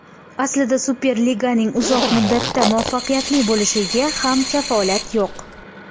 Aslida Superliganing uzoq muddatda muvaffaqiyatli bo‘lishiga ham kafolat yo‘q.